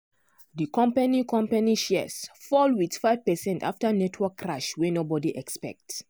di company company shares fall with 5 percent after network crash wey nobody expect.